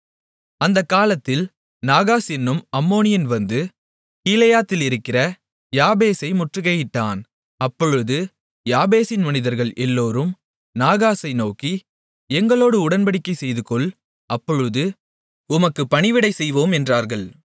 அந்தக் காலத்தில் நாகாஸ் என்னும் அம்மோனியன் வந்து கீலேயாத்திலிருக்கிற யாபேசை முற்றுகையிட்டான் அப்பொழுது யாபேசின் மனிதர்கள் எல்லோரும் நாகாசை நோக்கி எங்களோடு உடன்படிக்கைசெய்துகொள் அப்பொழுது உமக்கு பணிவிடை செய்வோம் என்றார்கள்